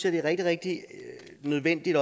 at det er rigtig rigtig nødvendigt